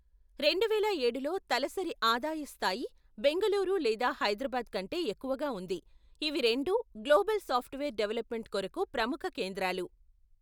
రెండువేల ఏడులో తలసరి ఆదాయ స్థాయి బెంగుళూరు లేదా హైదరాబాద్ కంటే ఎక్కువగా ఉంది, ఇవి రెండూ గ్లోబల్ సాఫ్ట్వేర్ డెవలప్మెంట్ కొరకు ప్రముఖ కేంద్రాలు.